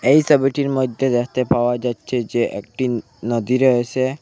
এই ছবিটির মধ্যে দেখতে পাওয়া যাচ্ছে যে একটি উ নদী রয়েছে।